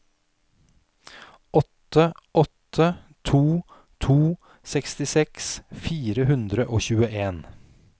åtte åtte to to sekstiseks fire hundre og tjueen